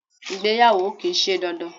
Ìgbéyàwó kìí se dandan